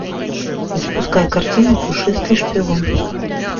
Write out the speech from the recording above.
запускай картину пушистый шпион